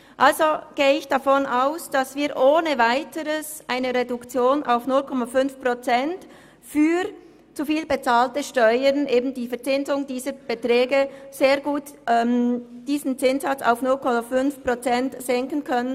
Also gehe ich davon aus, dass wir ohne Weiteres eine Reduktion auf 0,5 Prozent für zu viel bezahlte Steuern beschliessen können.